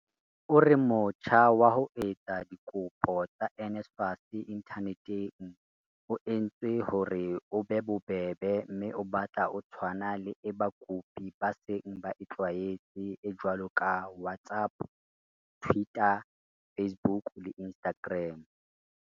O re motjha wa ho etsa dikopo tsa NSFAS inthaneteng o entswe hore o be bobebe mme o batla o tshwana le e bakopi ba seng ba e tlwaetse e jwalo ka WhatsApp, Twitter, Facebook le Instagram."